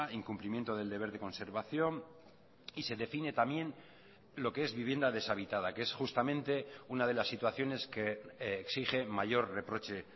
incumplimiento del deber de conservación y se define también lo que es vivienda desabitada que es justamente una de las situaciones que exige mayor reproche